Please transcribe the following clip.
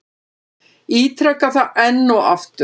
Ítreka það enn og aftur.